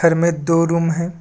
घर में दो रूम है।